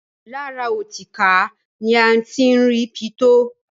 Lára ọtíkà ni a ti ń rí pitó.